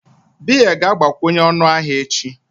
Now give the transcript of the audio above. Beer ga-agbakwunye ọnụ ahịa echi